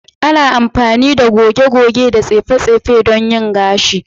Ana amfani da goge-goge da tsefe don yin gashi.